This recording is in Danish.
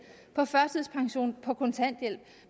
på førtidspension på kontanthjælp